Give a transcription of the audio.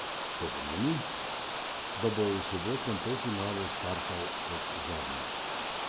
To pomeni, da bo v sobotnem polfinalu startal kot zadnji.